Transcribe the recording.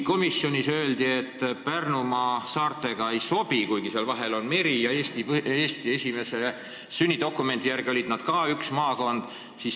Komisjonis öeldi, et Pärnumaa saartega kokku ei sobi, kuigi seal vahel on meri ja Eesti sünnidokumendi järgi olid nad ka üks maakond.